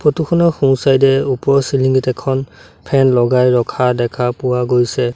Photo খনৰ সোঁ side এ ওপৰৰ চিলিং ত এখন ফেন লগাই ৰখা দেখা পোৱা গৈছে।